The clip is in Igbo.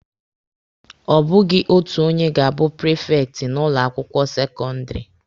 Ọ bụghị otu onye ga-abụ prifekti n'ụlọ akwụkwọ sekọndịrị.